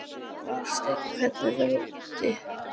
Valsteinn, hvernig er veðrið úti?